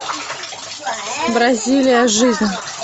бразилия жизнь